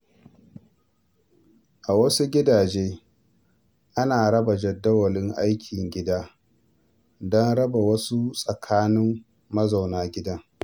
A wasu gidaje, ana tsara jadawalin ayyukan gida don raba su tsakanin mazauna gidan.